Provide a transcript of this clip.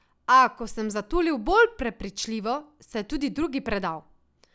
A, ko sem zatulil bolj prepričljivo, se je tudi drugi predal.